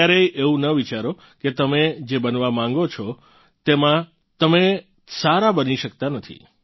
ક્યારેય એવું ન વિચારો કે તમે જે બનવા માંગો છો તેમાં તમે સારા બની શકતા નથી